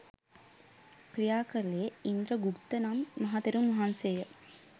ක්‍රියා කළේ ඉන්ද්‍රගුත්ත නම් මහතෙරුන් වහන්සේය.